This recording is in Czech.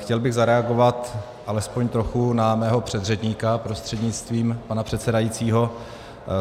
Chtěl bych zareagovat alespoň trochu na svého předřečníka prostřednictvím pana předsedajícího.